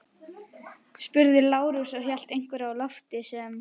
spurði Lárus og hélt einhverju á lofti sem